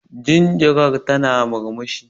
Jinjiran tana murmushi.